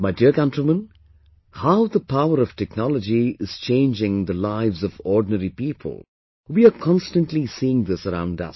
My dear countrymen, how the power of technology is changing the lives of ordinary people, we are constantly seeing this around us